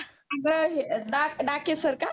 ड डाक डाके sir का?